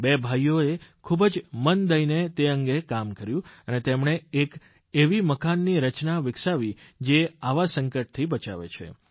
બે ભાઇઓએ ખૂબ જ મન દઇને તે અંગે કામ કર્યું અને તેમણે એક એવી મકાનની રચના વિકસાવી જે આવા સંકટથી બચાવે છે